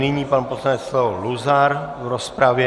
Nyní pan poslanec Leo Luzar v rozpravě.